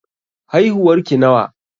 Haihuwar ki nawa?